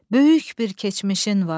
Böyük bir keçmişin vardır.